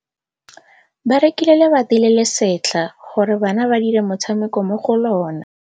Ba rekile lebati le le setlha gore bana ba dire motshameko mo go lona.